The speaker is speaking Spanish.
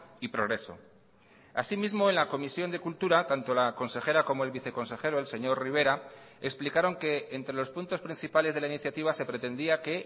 y progreso asimismo en la comisión de cultura tanto la consejera como el viceconsejero el señor rivera explicaron que entre los puntos principales de la iniciativa se pretendía que